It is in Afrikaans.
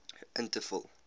in te vul